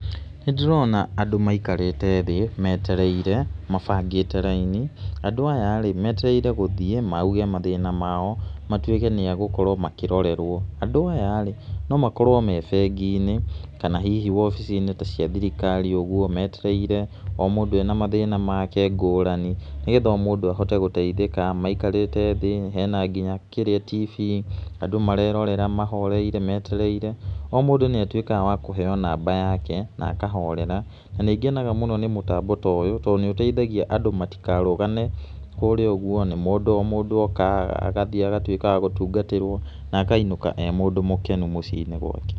Nĩ ndĩrona andũ maikarĩte thĩ, metereire mabangĩte raini, andũ aya rĩ, metereire gũthiĩ mauge mathĩna mao, matũike nĩ agũkorwo makĩrorerwo, andũ aya rĩ no makorwo me bengi-inĩ kana hihi wobici-inĩ ta cia thirikari ũguo metereire, o mũndũ ena mathĩna make ngũrani nĩ getha o mũndũ ahote gũteithĩka, maikarĩte thĩ, hena nginya tibii andũ marerorera mahoreire metereire, o mũndũ nĩ atuĩkaga wa kũheo namba yake na akahorera, na nĩ ngenaga mũno nĩ mũtamabo toyũ tondũ nĩ ũteithagia andũ matigarũgane kũrĩa ũguo na mundũ oka agathiĩ agatuĩka wa gũtungatĩrwo na akainũka ee mũndũ mũkenu mũciĩ-inĩ gwake.